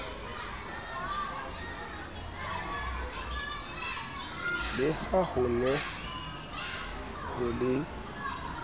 le ha hone ho le